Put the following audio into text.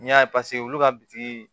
N'i y'a ye paseke olu ka bitiki